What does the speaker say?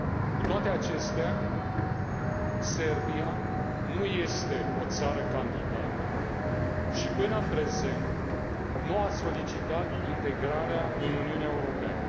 Cu toate acestea, Serbia nu este o țară candidată și, până în prezent, nu a solicitat integrarea în Uniunea Europeană.